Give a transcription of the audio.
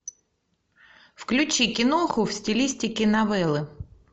включи киноху в стилистике новеллы